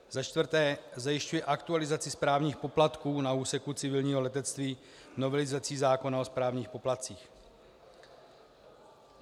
Za čtvrté, zajišťuje aktualizaci správních poplatků na úseku civilního letectví novelizací zákona o správních poplatcích.